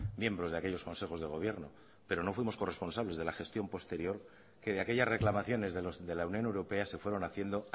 miembros de aquellos consejos de gobierno pero no fuimos corresponsables de la gestión posterior que de aquellas reclamaciones de la unión europea se fueron haciendo